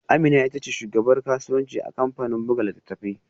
Amina ita ce shugabar kasuwanci a kamfanin buga littattafai